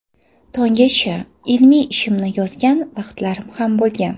Tonggacha ilmiy ishimni yozgan vaqtlarim ham bo‘lgan.